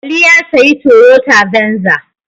Ali ya sayi Toyota Venza.